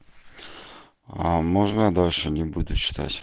а можно дальше не буду читать